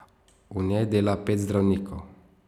V njej dela pet zdravnikov.